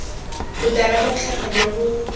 botala jwa tlhaga jo bo